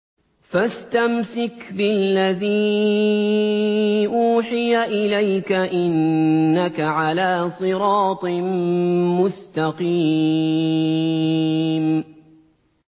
فَاسْتَمْسِكْ بِالَّذِي أُوحِيَ إِلَيْكَ ۖ إِنَّكَ عَلَىٰ صِرَاطٍ مُّسْتَقِيمٍ